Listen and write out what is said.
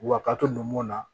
Wa kato numuw na